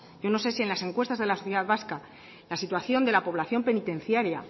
yo no sé si en las encuestas de la sociedad vasca la situación de la población penitenciaria